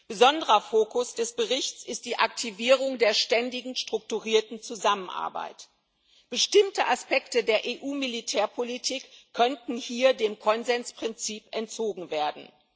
Besonderer Fokus des Berichts ist die Aktivierung der ständigen strukturierten Zusammenarbeit. Bestimmte Aspekte der EU Militärpolitik könnten hier dem Konsensprinzip entzogen werden.